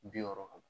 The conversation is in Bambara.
Bi wɔɔrɔ